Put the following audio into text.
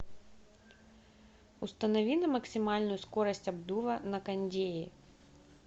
установи на максимальную скорость обдува на кондее